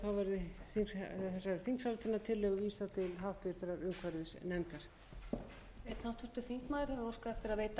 legg til að að lokinni þessari umræðu verði þessari þingsályktunartillögu vísað til háttvirtrar umhverfisnefndar